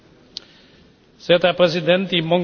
Sehr geehrter Herr Präsident